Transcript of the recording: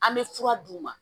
An bɛ fura d'u ma